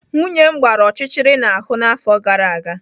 Nwunye m gbara ọchịchịrị n'ahụ n'afọ gara aga.